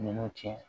Ninnu tiɲɛ